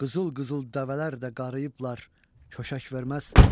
Qızıl-qızıl dəvələr də qarıyıblar, köşək verməz.